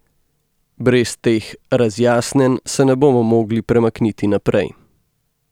Brez teh razjasnjenj se ne bomo mogli premakniti naprej.